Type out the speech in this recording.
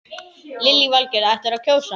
Lillý Valgerður: Ætlarðu að kjósa hann?